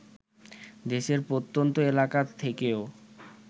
দেশের প্রত্যন্ত এলাকা থেকেও